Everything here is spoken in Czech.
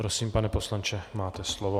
Prosím, pane poslanče, máte slovo.